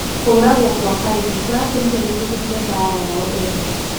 Kũragwo kwa Karĩmi kuratũmire gũtũthoke mbara yao ene